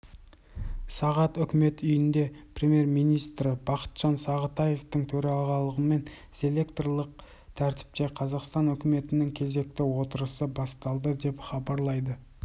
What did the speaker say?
сағат үкімет үйінде премьер-министрі бақытжан сағынтаевтың төрағалығымен селекторлық тәртіпте қазақстан үкіметінің кезекті отырысы басталды деп хабарлайды